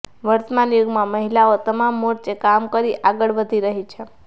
વર્તમાન યુગમાં મહિલાઓ તમામ મોરચે કામ કરી આગળ વધી રહી છે